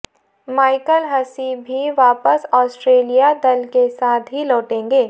Michael Hussey भी वापस Australia दल के साथ ही लौटेंगे